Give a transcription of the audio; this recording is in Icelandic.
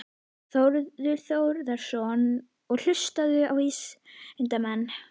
Þórður Þórðarson: Og hlusta á vísindamenn?